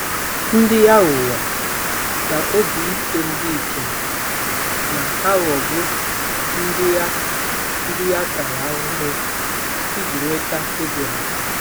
Ndị aghụghọ na obi ike ndị ikom na-aghọgbu ndị a ndị a tara ahụhụ iji nweta ego ha.